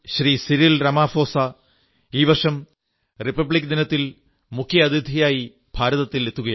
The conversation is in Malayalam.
സിരിൾ രാമാഫോസാ ഈ വർഷം റിപബ്ലിക ദിനത്തിൽ മുഖ്യ അതിഥിയായി ഭാരതത്തിൽ എത്തുകയാണ്